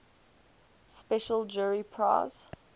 special jury prize